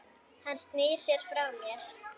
Hann snýr sér frá mér.